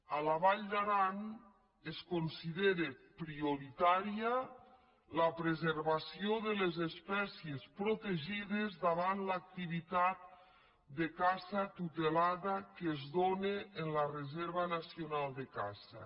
a la vall d’aran es considera prioritària la preservació de les espècies protegides davant l’activitat de caça tu·telada que es dóna en la reserva nacional de caça